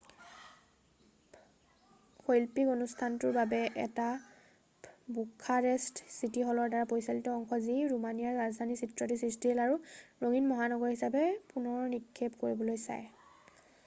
শৈল্পিক অনুষ্ঠানটোও এটা বুখাৰেষ্ট চিটি হলৰ দ্বাৰা পৰিচালিত অংশ যি ৰোমানিয়াৰ ৰাজধানীৰ চিত্ৰটি সৃষ্টিশীল আৰু ৰঙীন মহানগৰ হিচাবে পুনৰ নিক্ষেপ কৰিবলৈ চায়